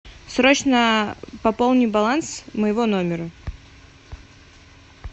срочно пополни баланс моего номера